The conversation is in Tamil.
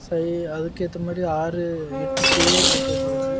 ஐஐஐ அதுக்கு ஏத்த மாதிரி ஆறு எட்டு சேர் போட்டு வெச்சிருக்கு.